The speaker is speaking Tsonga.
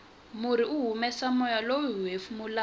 murhi wu humesa moya lowu hiwu hefemulaka